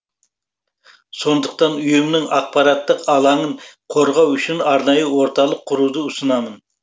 сондықтан ұйымның ақпараттық алаңын қорғау үшін арнайы орталық құруды ұсынамын